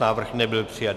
Návrh nebyl přijat.